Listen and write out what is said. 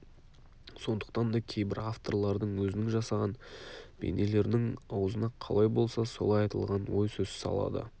сондықтан да кейбір авторлардың өзінің жасаған бейнелерінің аузына қалай болса солай айтылған ой сөз салады